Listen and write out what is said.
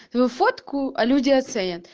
вы фотку а люди оценят